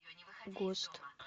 гост